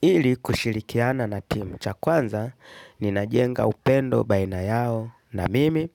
Ili kushirikiana na timu cha kwanza, ninajenga upendo baina yao na mimi,